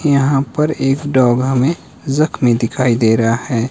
यहां पर एक डॉग हमे जख्मी दिखाई दे रहा है।